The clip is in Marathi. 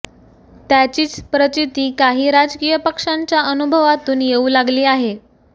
त्याचीच प्रचीती काही राजकीय पक्षांच्या अनुभवातून येऊ लागली आहे